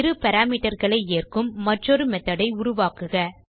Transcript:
இரு parameterகளை ஏற்கும் மற்றொரு மெத்தோட் ஐ உருவாக்குக